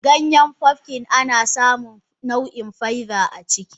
Ganyen pumpkin anasamun nau in faiba aciki.